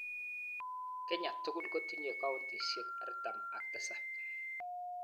Kenya tugul kotinyei kauntisiek 47.